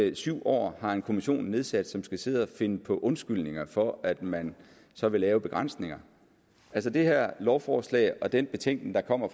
i syv år har en kommission nedsat som skal sidde at finde på undskyldninger for at man så vil lave begrænsninger altså det her lovforslag og den betænkning der kommer